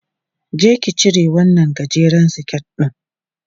Je ki cire wannan gajeren siket ɗin!